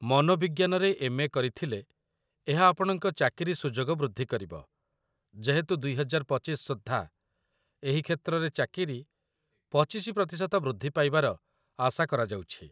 ମନୋବିଜ୍ଞାନରେ M A. କରିଥିଲେ ଏହା ଆପଣଙ୍କ ଚାକିରୀ ସୁଯୋଗ ବୃଦ୍ଧି କରିବ, ଯେହେତୁ ୨୦୨୫ ସୁଦ୍ଧା ଏହି କ୍ଷେତ୍ରରେ ଚାକିରୀ ୨୫% ବୃଦ୍ଧି ପାଇବାର ଆଶା କରାଯାଉଛି |